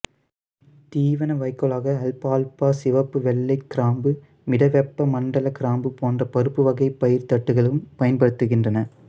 தீவன வைக்கோலாக அல்பால்பா சிவப்பு வெள்ளைக் கிராம்பு மிதவெப்ப மண்டலக் கிராம்பு போன்ற பருப்புவகைப் பயிர்த் தட்டுகளும் பயன்படுகின்றன